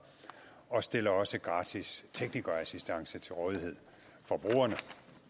og stiller også gratis teknikerassistance til rådighed for brugerne